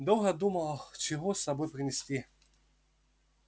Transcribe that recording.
долго думала чего с собой принести